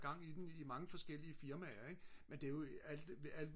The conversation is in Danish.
gang i den i mange forskellige firmaer ik men det er jo